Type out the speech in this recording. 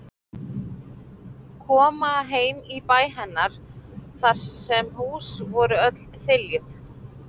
Koma heim í bæ hennar þar sem hús voru öll þiljuð.